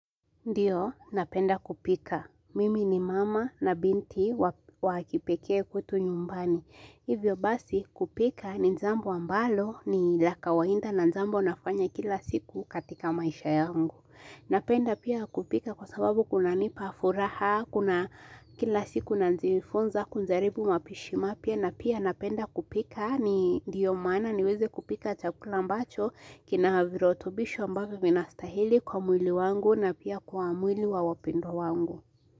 Ndio, napenda kupika. Mimi ni mama na binti wa wakipekee kwetu nyumbani. Hivyo basi, kupika ni njambo ambalo ni la kawainda na njambo nafanya kila siku katika maisha yangu. Napenda pia kupika kwa sababu kunanipa furaha, kuna kila siku nanjiifunza, kunjaribu mapishi mapya. Na pia napenda kupika ni ndiyo maana niweze kupika chakula ambacho kinahavirotobisho ambavyo vinastahili kwa mwili wangu na pia kwa mwili wa wapendu wangu.